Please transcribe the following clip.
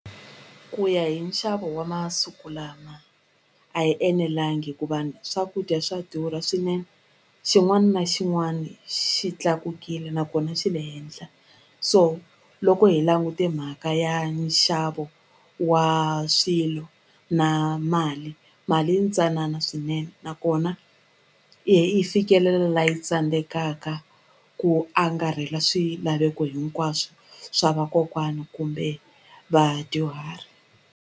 Ku ya hi nxavo wa masiku lama a yi enelangi hikuva ni swakudya swa durha swinene xin'wani na xin'wani xi tlakukile nakona xi le henhla so loko hi langute mhaka ya nxavo wa swilo na mali mali yintsanana swinene nakona yi fikelela la yi tsandzekaka ku angarhela swilaveko hinkwaswo swa vakokwana kumbe vadyuhari.